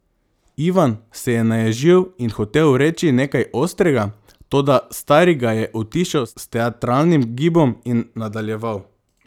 Ivan se je naježil in hotel reči nekaj ostrega, toda stari ga je utišal s teatralnim gibom in nadaljeval.